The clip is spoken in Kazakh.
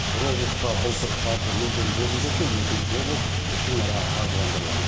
бір облысқа былтыр қаржы мүлдем бөлінбесе екінші облыс ішінара қаржыландырылған